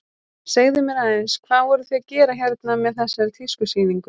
Segðu mér aðeins, hvað voruð þið að gera hérna með þessari tískusýningu?